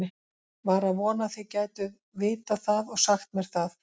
Var að vona þið gætuð vitað það og sagt mér það.